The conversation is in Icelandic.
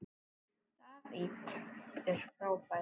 David er frábær.